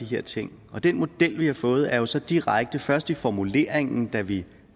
her ting den model vi har fået er jo så direkte først i formuleringen da vi